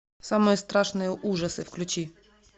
самые страшные ужасы включи